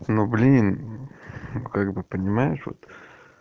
ну блин как бы понимаешь вот